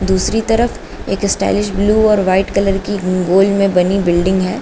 दूसरी तरफ एक स्टाइलिश ब्लू और वाइट कलर की गोल में बनी बिल्डिंग है।